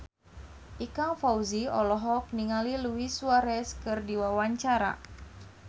Ikang Fawzi olohok ningali Luis Suarez keur diwawancara